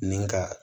Ni ka